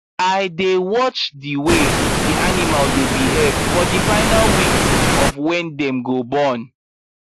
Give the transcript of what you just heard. i dey watch the way the animal dy behave for the final weeks of wy dem go born